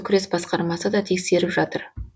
күрес басқармасы да тексеріп жатыр